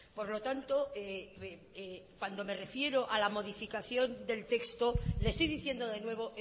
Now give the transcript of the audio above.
por lo tanto cuando me refiero a la modificación del texto le estoy diciendo de nuevo